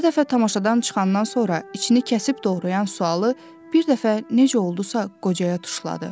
Hər dəfə tamaşadan çıxandan sonra içini kəsib doğrayan sualı bir dəfə necə oldusa qocaya tuşladı.